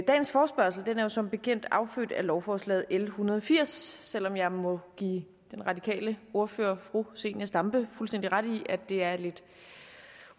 dagens forespørgsel er jo som bekendt affødt af lovforslag l en hundrede og firs selv om jeg må give den radikale ordfører fru zenia stampe fuldstændig ret i at det er lidt